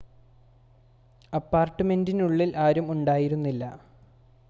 അപ്പാർട്ട്മെൻ്റിനുള്ളിൽ ആരും ഉണ്ടായിരുന്നില്ല